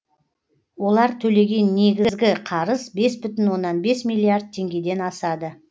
олар төлеген негізгі қарыз бес бүтін оннан бес миллиард теңгеден асады